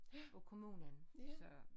Af kommunen så